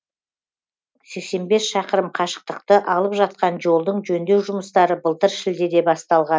сексен бес шақырым қашықтықты алып жатқан жолдың жөндеу жұмыстары былтыр шілдеде басталған